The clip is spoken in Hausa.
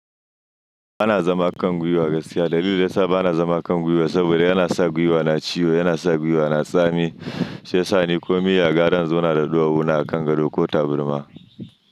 Bana zama kan gwiwa gaskiya. Dalilin da ya sa bana zama kan gwiwa saboda yana sa gwiwa na ciwo, yana sa gwiwa na tsami sai sani ko me ya gaya dani suna da ɗuwawuna a kan gado ko taburma.